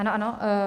Ano, ano.